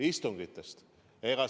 Istungitest!